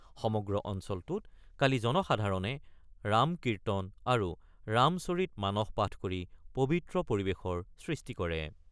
সমগ্ৰ অঞ্চলটোত কালি জনসাধাৰণে ৰাম-কীৰ্তন আৰু ৰামচৰিত মানস পাঠ কৰি পৱিত্ৰ পৰিৱেশৰ সৃষ্টি কৰে।